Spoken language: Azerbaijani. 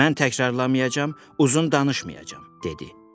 Mən təkrarlamayacam, uzun danışmayacam, dedi.